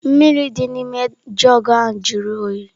Mmiri dị n'ime jugu ahụ jụrụ oyi.